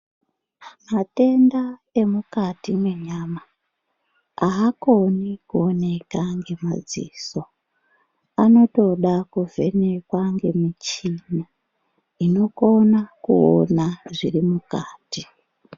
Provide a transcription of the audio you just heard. Matenda emukati menyama haakoni Kuoneka nemadziso anotoda kuvhenekwa nemichini inokona kuona zviri mukati.